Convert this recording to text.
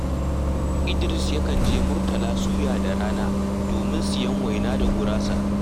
Idiris yakan je Murtala Suya da rana domin siyan waina da gurasa